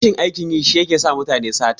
Rashin aikin yi shi yake sa mutane sata.